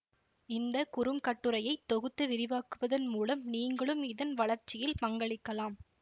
இந்த குறுங்கட்டுரையை தொகுத்து விரிவாக்குவதன் மூலம் நீங்களும் இதன் வளர்ச்சியில் பங்களிக்கலாம்